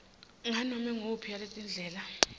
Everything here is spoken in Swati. nganome nguyiphi yaletindlela